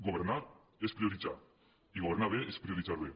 governar és prioritzar i governar bé és prioritzar bé